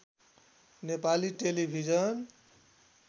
Nepali television